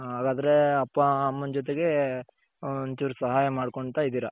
ಹ್ಮ್ ಹಾಗಾದ್ರೆ ಅಪ್ಪ ಅಮ್ಮನ ಜೊತೆಗೆ ಒನ್ಚೂರ್ ಸಹಾಯ ಮಾಡ್ಕೊಂತ ಇದ್ದೀರ.